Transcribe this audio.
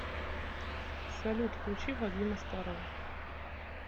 салют включи вадима старова